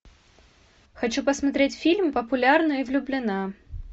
хочу посмотреть фильм популярна и влюблена